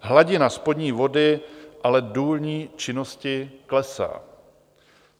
Hladina spodní vody ale důlní činností klesá.